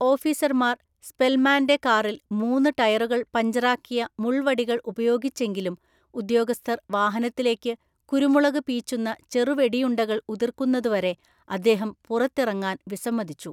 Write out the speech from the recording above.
ഓഫീസർമാർ സ്പെൽമാന്‍റെ കാറിൽ മൂന്ന് ടയറുകൾ പഞ്ചറാക്കിയ മുള്‍വടികള്‍ ഉപയോഗിച്ചെങ്കിലും ഉദ്യോഗസ്ഥർ വാഹനത്തിലേക്ക് കുരുമുളക് പീച്ചുന്ന ചെറുവെടിയുണ്ടകള്‍ ഉതിര്‍ക്കുന്നതുവരെ അദ്ദേഹം പുറത്തിറങ്ങാൻ വിസമ്മതിച്ചു.